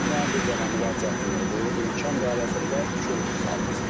Mənim bir dənə müraciətim odur, imkan dairəsində körpü salınsın.